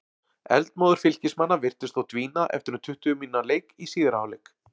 Eldmóður Fylkismanna virtist þó dvína eftir um tuttugu mínútna leik í síðari hálfleik.